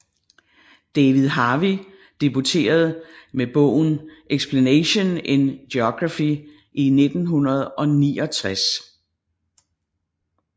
David Harvey debuterede med bogen Explanation in Geography i 1969